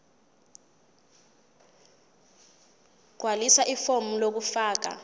gqwalisa ifomu lokufaka